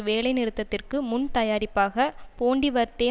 வேலைநிறுத்தத்திற்கு முன்தயாரிப்பாக போன்டிவர்தே